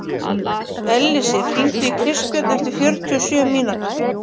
Ellisif, hringdu í Kristbjörn eftir fjörutíu og sjö mínútur.